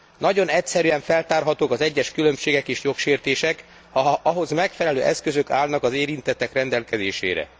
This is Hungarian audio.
Nagyon egyszerűen feltárhatók az egyes különbségek és jogsértések, ha ahhoz megfelelő eszközök állnak az érintettek rendelkezésére.